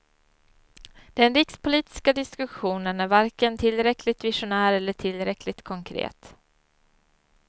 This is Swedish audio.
Den rikspolitiska diskussionen är varken tillräckligt visionär eller tillräckligt konkret.